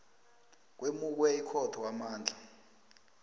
kwemukwe ikhotho amandla